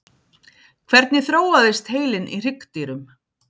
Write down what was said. hvernig þróaðist heilinn í hryggdýrum